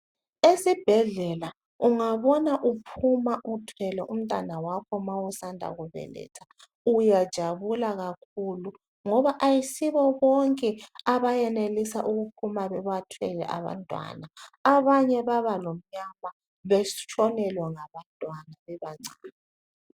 Esibhedlela ungabona uphuma uthwele umntwana wakho ma usanda kubeletha uyajabula kakhulu ngoba ayisibo bonke abayenelisa ukuphuma bebathwele abantwana abanye baba lomnyama betshonelwe ngabantwana bebancane.